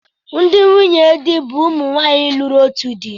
Ndị nwunye di bụ ụmụ nwaanyi lụrụ otu di.